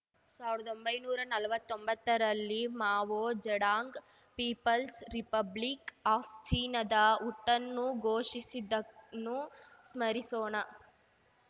ಸಾವ್ರ್ದೊಂಬೈನೂರಾ ನಲ್ವತ್ತೊಂಬತ್ತರಲ್ಲಿ Mao Zedong People's Republic of ಚೀನಾದ ಹುಟ್ಟನ್ನು ಘೋಷಿಸಿದ್ದನ್ನು ಸ್ಮರಿಸೋಣ